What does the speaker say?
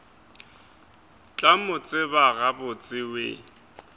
tla mo tseba gabotse we